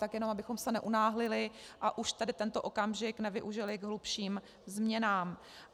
Tak jenom abychom se neunáhlili a už tady tento okamžik nevyužili k hlubším změnám.